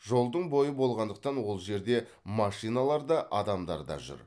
жолдың бойы болғандықтан ол жерде машиналар да адамдар да жүр